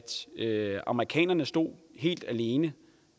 amerikanerne stod helt alene